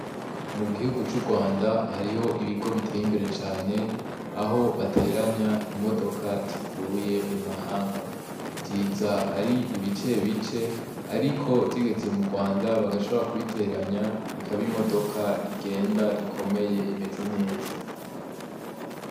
Mu gihugu c'urwanda hariho ibigo biteye imbere cane aho bateranya imodoka zivuye mu mahanga ziza ari ibice bice, ariko zigeze mu Rwanda bagashabora kubiteranya ikaba imodoka igenda ikomeye imeze neza.